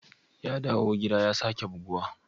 Ya dawo gida ya sake buguwa?